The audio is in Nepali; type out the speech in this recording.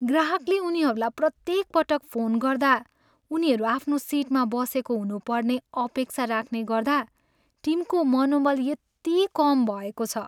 ग्राहकले उनीहरूलाई प्रत्येक पटक फोन गर्दा उनीहरू आफ्नो सिटमा बसेको हुनुपर्ने अपेक्षा राख्ने गर्दा टिमको मनोबल यति कम भएको छ।